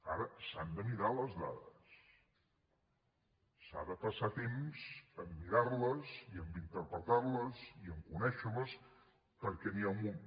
ara s’han de mirar les dades s’ha de passar temps a mirar les i a interpretar les i a conèixer les perquè n’hi ha un munt